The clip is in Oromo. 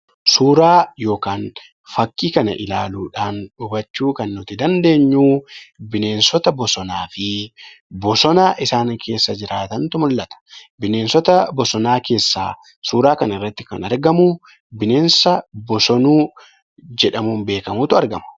Suuraa yookiin fakii kana ilaaluudhan hubachuu kan dandeenyu bineensota bosonaa fi bosona isaan keessa jiraatantu mul'ata. Bineensota bosonaa keessaa suura kana irratti kan argamu bineensa bosonuu jedhamuun beekkamutu argama.